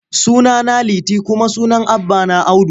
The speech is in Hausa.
Sunana Liti kuma sunan babana Audu.